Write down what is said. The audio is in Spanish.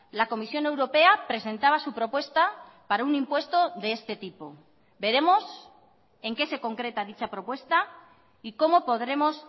la comisión europea presentaba su propuesta para un impuesto de este tipo veremos en qué se concreta dicha propuesta y cómo podremos